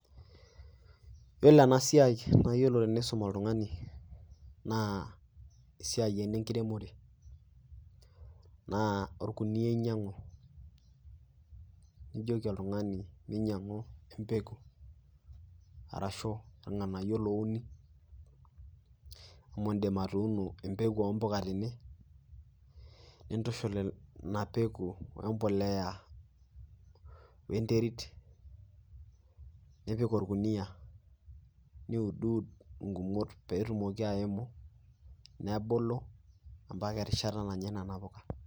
Iyiolo eena siai naa iyiolo teniisum oltung'ani, naa esiai eena enkiremore naa orkuniyia inyiang'u nijoki oltung'ani meinyiang'u empeku arashu irng'anayio louni amuu iidim atuuno empeku ompuka teine pause intushul iina peku wembolea wenterit, nipik orkuniyia niuduud igumot peyie etumoki aimu nebulu mpaka erishata nanyae nena puuka.